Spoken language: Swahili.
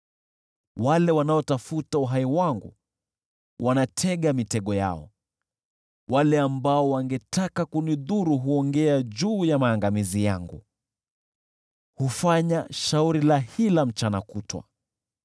Wale wanaotafuta uhai wangu wanatega mitego yao, wale ambao wangetaka kunidhuru huongea juu ya maangamizi yangu; hufanya shauri la hila mchana kutwa.